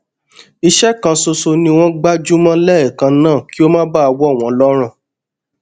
iṣé kan ṣoṣo ni wón gbájú mó léèkan náà kí ó má bàa wọ wọn lọrùn